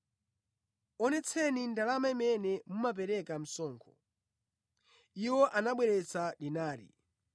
Onetseni ndalama imene mumapereka msonkho.” Iwo anabweretsa dinari,